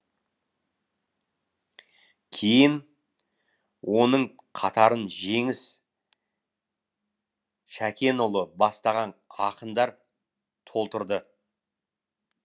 кейін оның қатарын жеңіс шәкенұлы бастаған ақындар толтырды